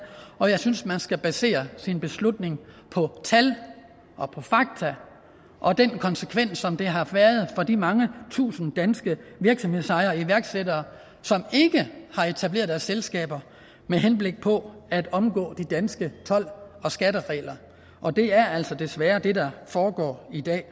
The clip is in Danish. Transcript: og jeg synes at man skal basere sin beslutning på tal og fakta og den konsekvens som det har haft for de mange tusinde danske virksomhedsejere iværksættere som ikke har etableret deres selskaber med henblik på at omgå de danske told og skatteregler og det er altså desværre det der foregår i dag